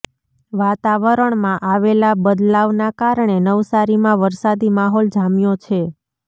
વાતાવરણમાં આવેલા બદલાવના કારણે નવસારીમાં વરસાદી માહોલ જામ્યો છે